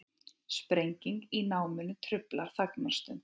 Sprenging í námunni truflar þagnarstund